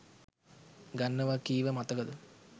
ගන්නව කීව මතකද